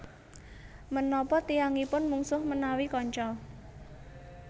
Menapa tiyangipun mungsuh menawi kanca